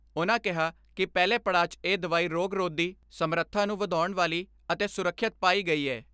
ਉਨ੍ਹਾਂ ਕਿਹਾ ਕਿ ਪਹਿਲੇ ਪੜਾਅ 'ਚ ਇਹ ਦਵਾਈ ਰੋਗ ਰੋਧੀ ਸਮਰੱਥਾ ਨੂੰ ਵਧਾਉਣ ਵਾਲੀ ਅਤੇ ਸੁਰੱਖਿਅਤ ਪਾਈ ਗਈ ਐ।